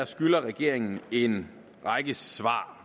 skylder regeringen en række svar